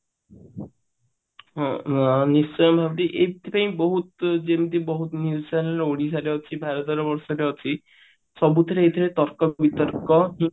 ହଁ ଏଇଥି ପାଇଁ ବହୁତ ଓଡିଶାରେ ଅଛି ଭରତ ବର୍ଷରେ ଅଛି ସବୁଥିରେ ତର୍କ ବିତର୍କ